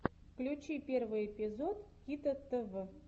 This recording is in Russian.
включи первый эпизод кито тв